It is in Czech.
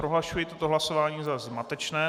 Prohlašuji toto hlasování za zmatečné.